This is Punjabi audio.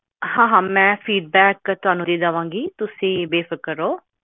ਹੁਣ ਓਨ ਵੀ ਕਰਿਆ ਹੁਣੇ